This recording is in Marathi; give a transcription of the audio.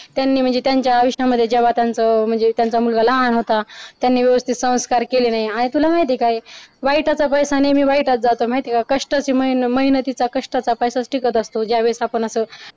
त्यांनी म्हणजे त्यांच्या आयुष्यामध्ये जेव्हा त्यांचा म्हणजे त्यांचा मुलगा लहान होता त्यांनी व्यवस्थित संस्कार केले नाही आणि तुला माहिती आहे का वाईट याचा पैसा नेहमी वाईटच जातो माहिते का कष्टाची त्यांना तिचा कष्टाचा पैसा टिकत असतो ज्यावेळेस आपण असं